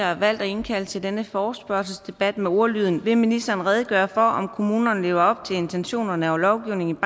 har valgt at indkalde til denne forespørgselsdebat med ordlyden vil ministeren redegøre for om kommunerne lever op til intentionerne og lovgivningen